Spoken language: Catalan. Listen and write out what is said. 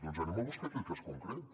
doncs anem a buscar aquell cas concret